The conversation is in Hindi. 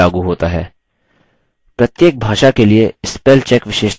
प्रत्येक भाषा के लिए spell check विशेषता भिन्न होती है